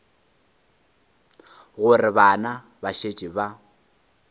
gore bana ba šetše ba